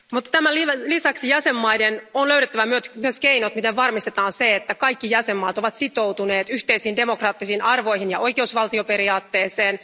Tämän lisäksi jäsenvaltioiden on löydettävä myös keinot, miten varmistetaan se, että kaikki jäsenvaltiot ovat sitoutuneita yhteisiin demokraattisiin arvoihin ja oikeusvaltioperiaatteeseen.